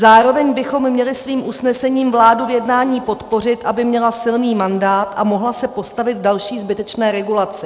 Zároveň bychom měli svým usnesením vládu v jednání podpořit, aby měla silný mandát a mohla se postavit další zbytečné regulaci.